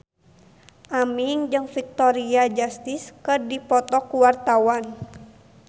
Aming jeung Victoria Justice keur dipoto ku wartawan